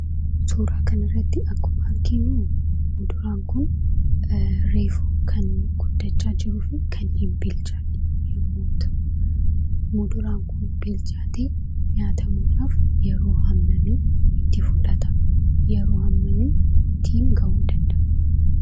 Suuraa kanarratti akkuma arginu muduraan kun reefu kan guddachaa jiruu fi kan hin bilchaanne yemmuu ta'u, muduraan kun bilchaatee nyaatamuudhaaf yeroo hammamii itti fudhata? Yeroo hammamiitti bilchaata?